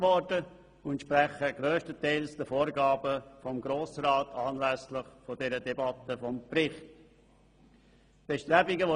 Sie entsprechen grösstenteils den Vorgaben des Grossen Rats, die dieser anlässlich der Debatte über den Bericht gemacht hat.